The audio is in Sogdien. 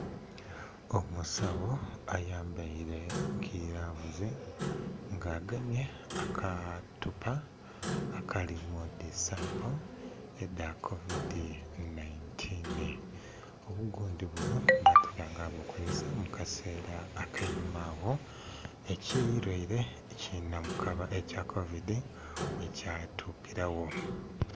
Omusawo ayambaile gilavuzi, nga agemye akatupa akalimu dhi sampo edha kovidi 19. Obugundhi buno basinga nga bukozesa mu kaseela ak'einhuma agho ekilwaile eki namukaba ekya kovidi bwekyatukilagho.